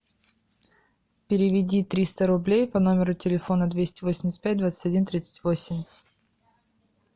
переведи триста рублей по номеру телефона двести восемьдесят пять двадцать один тридцать восемь